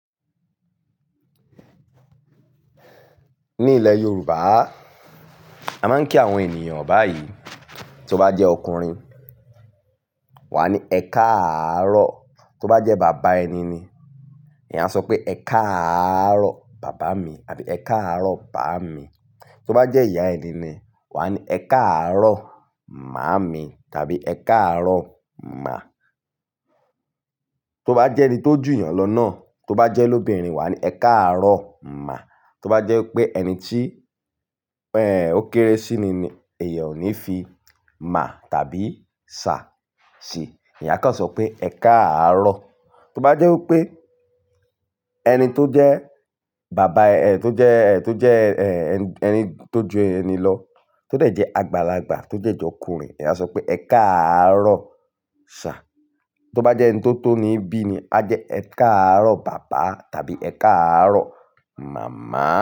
Ní ilẹ̀ Yorùbá, a máa ń kí àwọn ènìyàn báyìí. Tó bá jẹ́ ọkùnrin, wà á ní "Ẹ káàárọ̀". Tó bá jẹ́ bàbá ẹni ni, ẹ̀yà á sọ pé "Ẹ káàárọ̀ bàbá mi" àbí "Ẹ káàárọ̀ bàmi". Tó bá jẹ́ ìyá ẹni ni, wà á ní "Ẹ káàárọ̀ màámi" tàbí "Ẹ káàárọ̀ mà". Tó bá jẹ́ ẹni tó jù yàn lọ náà, tó bá jẹ́ lóbìnrin, wà á ní "Ẹ káàárọ̀ mà". Tó bá jẹ́ pé ẹni tí, ẹ̀, ó kéré sí i ni, ẹ̀yàn ò ní fi "mà" tàbí "ṣà" sí i. Eyán a kan sọ pé "Ẹ káàárọ̀". Tó bá jẹ́ wí pé ẹni tó jẹ́ bàbá, ẹ̀, tó jẹ́, ẹ̀, tó jẹ́, ẹ̀, ẹni tó jù ẹni lọ, tó de jẹ́ àgbàlagbà, tó. De jẹ́ jọkùnrin, ẹ̀yàn á sọ pé "Ẹ káàárọ̀ ṣir. Tó bá jẹ́ ẹni tó tó ni bí ni, á jẹ́ "Ẹ káàárọ̀ bàbá" tàbí "Ẹ káàárọ̀ màmá".